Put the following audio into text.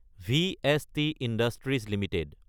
VST industries Ltd